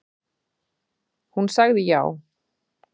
Hún sagði já.